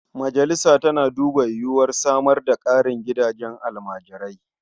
Majalisa tana duba yiwuwar samar da ƙarin gidajen almajirai.